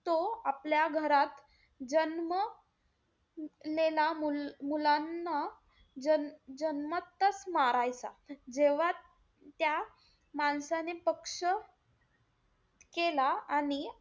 तो आपल्या घरात जन्म लेल्या मुलांना जन्म~ जन्मताच मारायचा. जेव्हा त्या माणसाने पक्ष केला आणि,